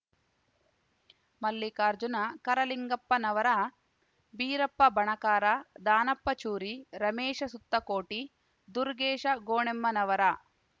Mallikarjuna Karalingappanavar Birappa Banakar Danappa Churi Ramesh Suttakoti Durgesh Gonemmanavar